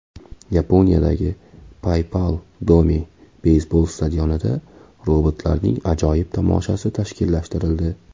Yaponiyadagi Paypal Dome beysbol stadionida robotlarning ajoyib tomoshasi tashkillashtirildi.